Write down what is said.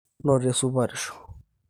noto esupatisho